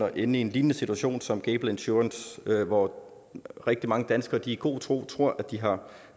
at ende i en lignende situation som med gable insurance hvor rigtig mange danskere i god tro tror de har